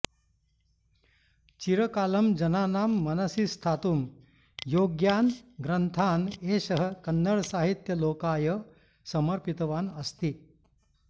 चिरकालं जनानां मनसि स्थातुं योग्यान् ग्रन्थान् एषः कन्नडसाहित्यलोकाय समर्पितवान् अस्ति